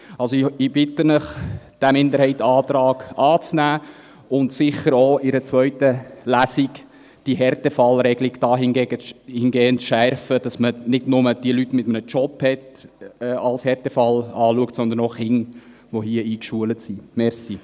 Also: Ich bitte Sie, diesen Minderheitsantrag anzunehmen und die Härtefallregelung sicher auch in einer zweiten Lesung dahingehend zu schärfen, dass man nicht nur die Leute mit einem Job als Härtefall betrachtet, sondern auch Kinder, die hier eingeschult sind.